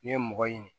Ne ye mɔgɔ ɲini